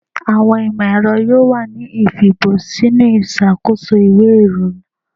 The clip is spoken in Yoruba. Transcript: Awọn imọ-ẹrọ yoo wa ni ifibọ sinu iṣakoso iwe irinna